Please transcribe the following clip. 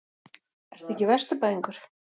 Ertu ekki Vesturbæingur?